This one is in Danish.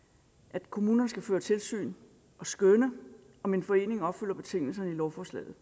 at kommunerne skal føre tilsyn og skønne om en forening opfylder betingelserne i lovforslaget